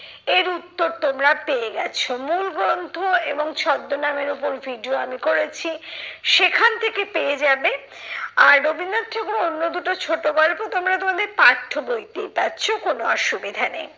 এর উত্তর তোমরা পেয়ে গেছো। মূলগ্রন্থ এবং ছদ্মনামের ওপর video আমি করেছি, সেখান থেকে পেয়ে যাবে। আর রবীন্দ্রনাথ ঠাকুরের অন্য দুটো ছোট গল্প তোমরা তোমাদের পাঠ্য বইতেই পাচ্ছ কোনো অসুবিধা নেই।